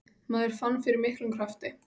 Maður fann fyrir miklum krafti.